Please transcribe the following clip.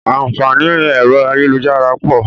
Àǹfààní ẹ̀rọ ayélujára pọ̀